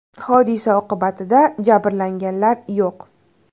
Hodisa oqibatida jabrlanganlar yo‘q.